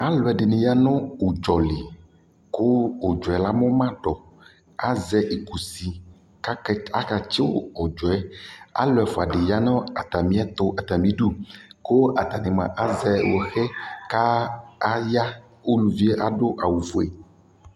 Alʋ ɛdɩnɩ ya nʋ ʋdzɔ li kʋ ʋdzɔ ɛ amʋa ma tʋ kʋ azɛ ikusi kake akatsɩ ʋdzɔ yɛ Alʋ ɛfʋa dɩ ya nʋ atamɩɛtʋ atamɩdu kʋ atanɩ mʋa, azɛ hoɣe kʋ aya Uluvi yɛ adʋ awʋfue